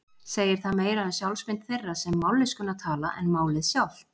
Segir það meira um sjálfsmynd þeirra sem mállýskuna tala en málið sjálft.